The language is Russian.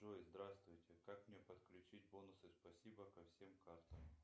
джой здравствуйте как мне подключить бонусы спасибо ко всем картам